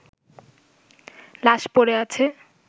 লাশ পড়ে আছে